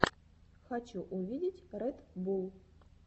хочу увидеть ред булл